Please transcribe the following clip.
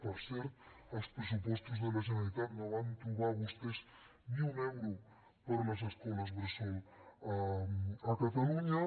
per cert als pressupostos de la generalitat no van trobar vostès ni un euro per a les escoles bressol a catalunya